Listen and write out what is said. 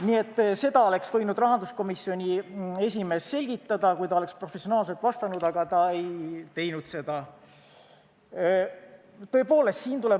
Nii et seda oleks võinud rahanduskomisjoni esimees selgitada, kui ta oleks professionaalselt vastanud, aga ta ei teinud seda.